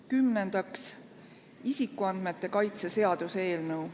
Kümnendaks, isikuandmete kaitse seaduse eelnõu.